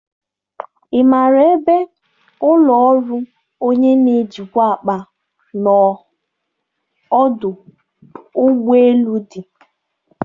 Ị maara ebe ụlọ ọrụ onye na-ejikwa akpa n'ọdụ ụgbọ elu dị?